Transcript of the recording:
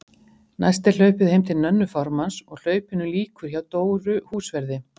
Næst er hlaupið heim til Nönnu formanns og hlaupinu lýkur hjá Dóru húsverði.